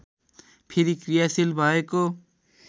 फेरि क्रियाशील भएको